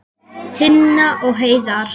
Tinna og Heiðar.